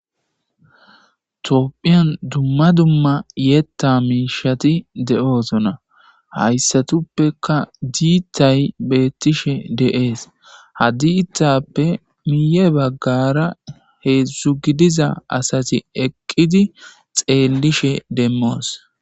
Tophiyan duma duma yetha mishati de'osona; haysatupeka diithay beethishe de'es ha diithape guye bagara heezu gidiza asati eqidi xeelishe demmos.